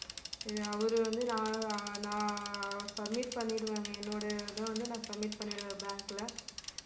இதை அவரு வந்து நா~ ஆஹ் submit பண்ணிடுவேங்க என்னோட இது வந்து நான் submit பண்ணிடுவேன் bank ல